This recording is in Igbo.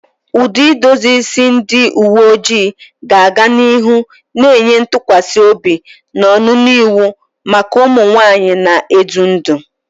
Ụdị edozi isi ndị uwe ojii ga-aga n'ihu na-enye ntụkwasị obi na ọnụnọ iwu maka ụmụ nwanyị na-edu ndú.